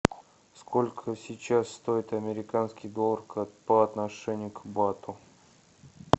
сколько сейчас стоит американский доллар по отношению к бату